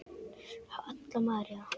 Halla María.